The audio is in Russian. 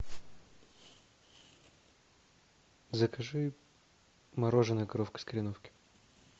закажи мороженое коровка из кореновки